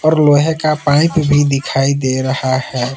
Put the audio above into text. लोहे का पाइप भी दिखाई दे रहा है।